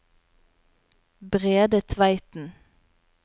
Brede Tveiten